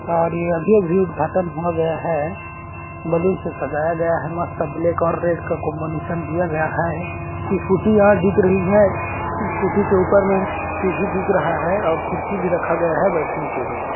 और ये अभी - अभी उद्घाटन हुआ गया है बलून सजाया गया है मस्त ब्लैक और रेड का कॉम्बिनेशन दिया गया है स्कूटीयाँ यहाँ रही है स्कूटी ऊपर सीढ़ी दिख रहा है और कुर्सी भी रखा गया है बैठने के लिए --